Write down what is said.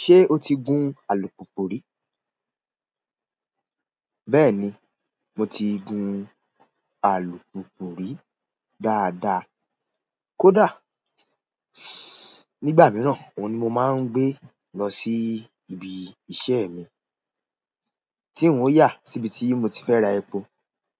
Ṣé o ti gun alùpùpù rí? Bẹ́ẹ̀ ni, mo ti gun alùpùpù rí dáadáa kódà nígbà mìíràn, òun ni mo máa ń gbé lọ sí ibi iṣẹ́ mi tí n ò yà síbi tí mo ti fẹ́ ra epo